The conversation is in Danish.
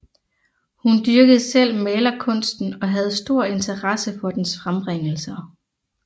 Hun dyrkede selv malerkunsten og havde stor interesse for dens frembringelser